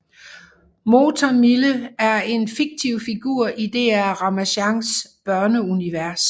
Motor Mille er en fiktiv figur i DR Ramasjangs børneunivers